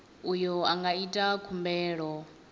uyo a nga ita khumbelo